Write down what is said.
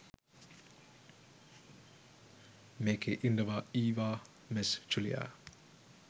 මේකේ ඉන්නවා ඊවා මෙස් ජුලියා